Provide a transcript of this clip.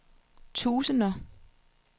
tusinder